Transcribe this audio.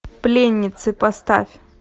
пленницы поставь